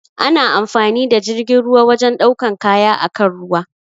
Ana amfani da jirgin ruwa wajen ɗaukan kaya akan ruwa.